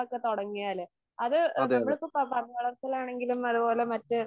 അതെ അതെ